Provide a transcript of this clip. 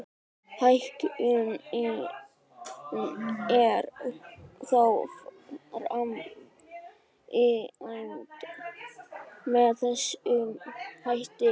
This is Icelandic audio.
Hækkunin er þá framkvæmd með þessum hætti.